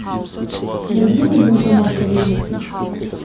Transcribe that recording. найди мне банкомат поблизости